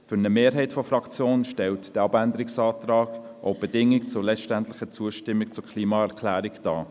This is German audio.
Für eine Mehrheit der Fraktion stellt dieser Abänderungsantrag auch die Bedingung für die letztendliche Zustimmung zur Klimaerklärung dar.